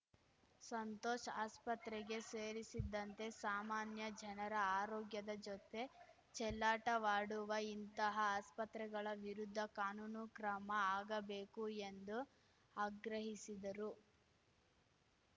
ಸಂತೋಷ್‌ ಆಸ್ಪತ್ರೆಗೆ ಸೇರಿಸಿದಂತೆ ಸಾಮಾನ್ಯ ಜನರ ಆರೋಗ್ಯದ ಜೊತೆ ಚೆಲ್ಲಾಟವಾಡುವ ಇಂತಹ ಆಸ್ಪತ್ರೆಗಳ ವಿರುದ್ಧ ಕಾನೂನು ಕ್ರಮ ಆಗಬೇಕು ಎಂದು ಆಗ್ರಹಿಸಿದರು